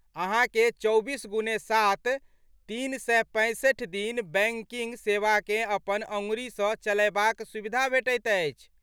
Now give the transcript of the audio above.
अहाँकेँ चौबीस गुणे सात, तीन सए पैंसठि दिन बैंकिंग सेवाकेँ अपन अँगुरीसँ चलयबाक सुविधा भेटैत अछि।